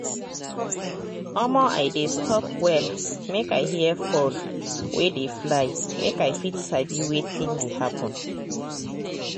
omo i dey stop well make i hear fowl wey dey fly make i fit sabi wetin dey happen.